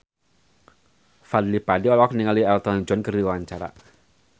Fadly Padi olohok ningali Elton John keur diwawancara